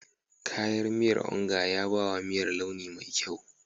Kayan miyar Onga ya ba wa miyar launi mai kyau.